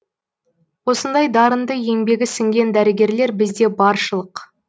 осындай дарынды еңбегі сіңген дәрігерлер бізде баршылық